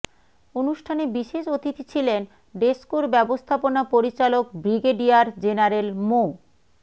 অনুষ্ঠানে বিশেষ অতিথি ছিলেন ডেসকোর ব্যবস্থাপনা পরিচালক ব্রিগেডিয়ার জেনারেল মো